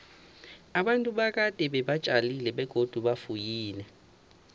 abantu bakade beba tjalile begodu bafuyile